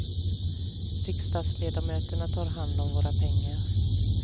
Riksdagsledamöterna tar hand om våra pengar.